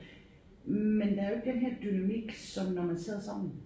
Men der er jo ikke den her dynamik som når man sidder sammen